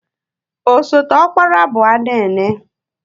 Osote ọkpara bụ Anene.